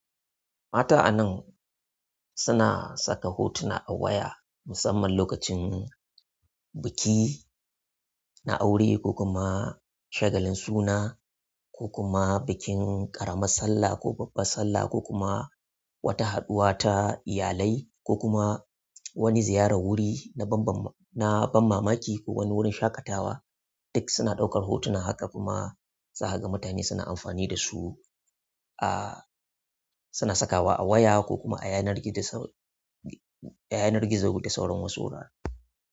Mata a nan suna saka hotuna a waya musamman lokacin biki na aure ko kuma shagalin suna ko kuma bikin ƙaramar sallah ka babbar sallah ko kuma wata haɗuwa ta iyalai ko kuma wani ziyarar wuri na ban mamaki ko wani wurin shaƙatawa duk suna ɗaukar hotuna haka kuma zakaga mutane suna amfani da su, a suna sakawa a waya ko kuma a yanar gizo da sauran wasu wurare.